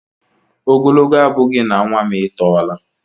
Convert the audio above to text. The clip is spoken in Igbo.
Ogologo abughi na nwa m e tọla.